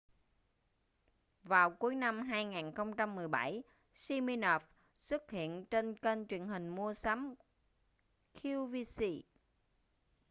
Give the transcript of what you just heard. vào cuối năm 2017 siminoff xuất hiện trên kênh truyền hình mua sắm qvc